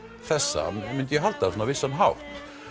þessa myndi ég halda svona á vissan hátt